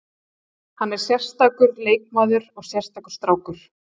Hann er sérstakur leikmaður og sérstakur strákur.